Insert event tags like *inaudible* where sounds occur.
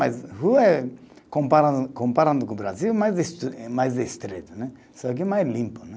*unintelligible* Rua eh, comparando, comparando com o Brasil, mais este, eh mais estreito né, só que mais limpo né.